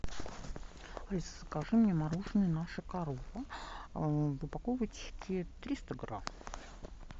алиса закажи мне мороженое наша корова в упаковочке триста грамм